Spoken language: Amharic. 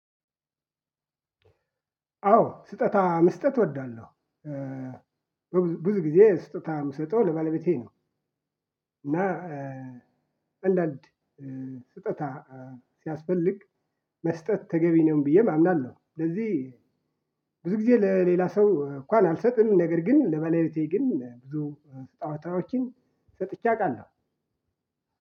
አዎ ስጦታ መስጠት እወዳለሁ። ብዙ ጊዜ ስጦታ ምሰጠው ለባለቤቴ ነው። እና አንዳንድ ስጦታ ሲያስፈልግ መስጠት ተገቢ ነው ብዬም አምናለሁ። ስለዚህ ብዙ ጊዜ ለሌላ ሰው እንኳን አልሰጥም ነገር ግን ለባለቤቴ ግን ብዙ ስጦታዎችን ሰጥቼ አውቃለሁ።